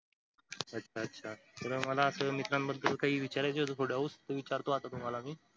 अच्छा अच्छा मला मित्रांबद्दल काही विचारायचं होत थोडं ते विचारतो आता तुम्हाला मी